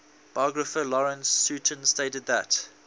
biographer lawrence sutin stated that